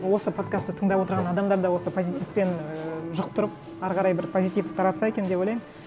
осы подкастты тыңдап отырған адамдар да осы позитивпен ііі жұқтырып әрі қарай бір позитивті таратса екен деп ойлаймын